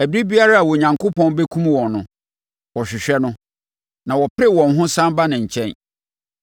Ɛberɛ biara a Onyankopɔn bɛkum wɔn no, wɔhwehwɛɛ no, na wɔpere wɔn ho sane baa ne nkyɛn.